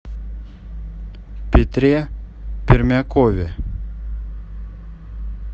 петре пермякове